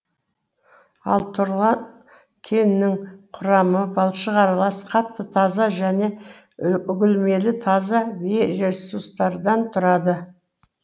ал тұрлан кенінің құрамы балшық аралас қатты таза және үгілмелі таза бейресурстардан тұрады